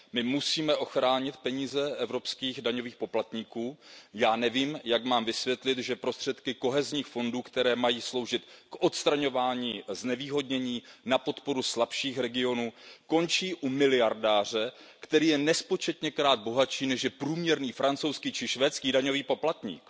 My musíme ochránit peníze evropských daňových poplatníků a já nevím, jak mám vysvětlit, že prostředky kohezních fondů, které mají sloužit k odstraňování znevýhodnění na podporu slabších regionů, končí u miliardáře, který je nespočetněkrát bohatší než průměrný francouzský nebo švédský daňový poplatník.